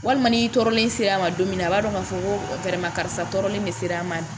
Walima ni tɔɔrɔlen sera a ma don min na a b'a dɔn k'a fɔ ko karisa tɔɔrɔlen de sera a ma